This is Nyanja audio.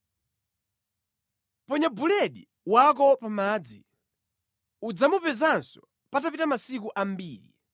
Ponya chakudya chako pa madzi, udzachipezanso patapita masiku ambiri.